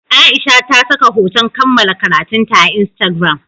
Aisha ta saka hoton kammala karatunta a Instagram.